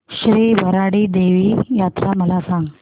श्री भराडी देवी यात्रा मला सांग